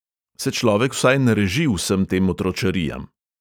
Se človek vsaj nareži vsem tem otročarijam.